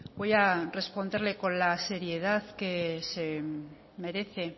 voy a responderle con la seriedad que se merece